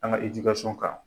An ka kan.